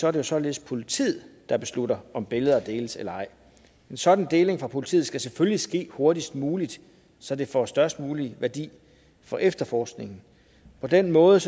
er det således politiet der beslutter om billeder skal deles eller ej en sådan deling fra politiet skal selvfølgelig ske hurtigst muligt så det får størst mulig værdi for efterforskningen på den måde